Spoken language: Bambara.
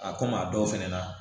A komi a dɔw fɛnɛ na